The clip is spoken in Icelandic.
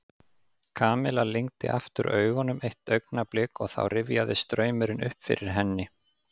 Kamilla lygndi aftur augunum eitt augnablik og þá rifjaðist draumurinn upp fyrir henni.